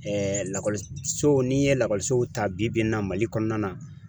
lakɔliso n'i ye lakɔlisow ta bi-bi in na Mali kɔnɔna na.